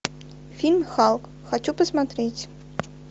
фильм халк хочу посмотреть